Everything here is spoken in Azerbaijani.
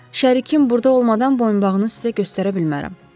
Şərikim burda olmadan boyunbağını sizə göstərə bilmərəm.